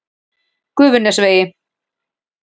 Gufunesvegi